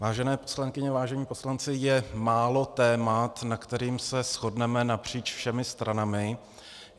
Vážené poslankyně, vážení poslanci, je málo témat, nad kterými se shodneme napříč všemi stranami.